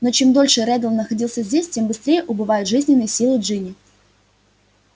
но чем дольше реддл находился здесь тем быстрее убывают жизненные силы джинни